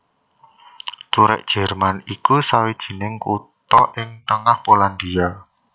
Turek Jerman iku sawijining kutha ing tengah Polandia